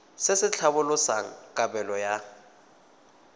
se se tlhalosang kabelo ya